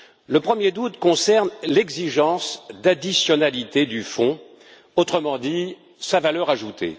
Le premier doute concerne l'exigence d'additionnalité du fonds, autrement dit sa valeur ajoutée.